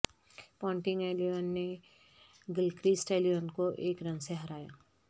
Ponting eleven نے Gilchrist eleven کو ایک رن سے ہرایا